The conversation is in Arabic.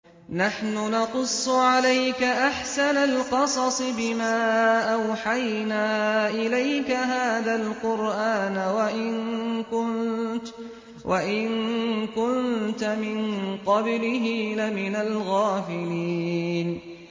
نَحْنُ نَقُصُّ عَلَيْكَ أَحْسَنَ الْقَصَصِ بِمَا أَوْحَيْنَا إِلَيْكَ هَٰذَا الْقُرْآنَ وَإِن كُنتَ مِن قَبْلِهِ لَمِنَ الْغَافِلِينَ